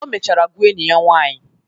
O mechara gwaa enyi ya nwanyị.